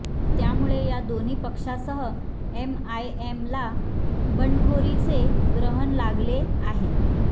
त्यामुळे या दोन्ही पक्षासह एमआयएमला बंडखोरीचे ग्रहन लागले आहे